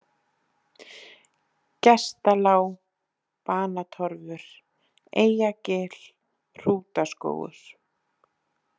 Gestalág, Banatorfur, Eyjagil, Hrútaskógur